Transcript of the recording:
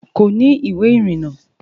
Kò ní ìwé ìrìnnà